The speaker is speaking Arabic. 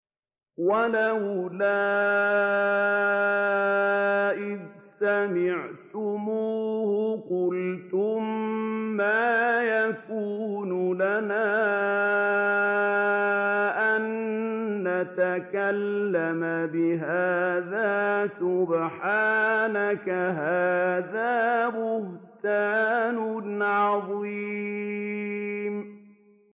وَلَوْلَا إِذْ سَمِعْتُمُوهُ قُلْتُم مَّا يَكُونُ لَنَا أَن نَّتَكَلَّمَ بِهَٰذَا سُبْحَانَكَ هَٰذَا بُهْتَانٌ عَظِيمٌ